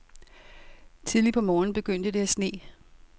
Tidligt på morgenen begyndte det at sne.